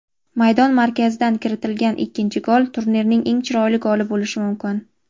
maydon markazidan kiritilgan ikkinchi gol turnirning eng chiroyli goli bo‘lishi mumkin.